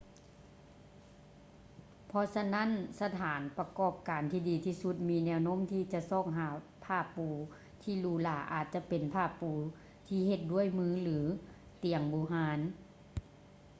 ເພາະສະນັ້ນ ສະຖານປະກອບການທີ່ດີທີ່ສຸດມີແນວໂນ້ມທີ່ຈະຊອກຫາຜ້າປູທີ່ຫຼູຫຼາອາດຈະເປັນຜ້າປູທີ່ເຮັດດ້ວຍມື ຫຼື ຕຽງບູຮານ